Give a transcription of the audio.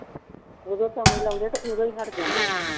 ਉਦੋਂ ਲਾਉਂਦੇ ਤੇ ਉਦੋਂ ਹੀ ਹਟ ਜਾਂਦਾ